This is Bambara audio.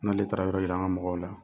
N'ale taara yɔrɔ yira an ŋa mɔgɔw la.